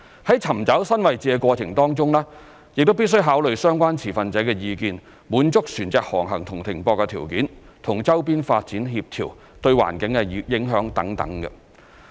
在尋找新位置的過程當中，亦必須考慮相關持份者的意見、滿足船隻航行和停泊條件、與周邊發展協調、對環境的影響等。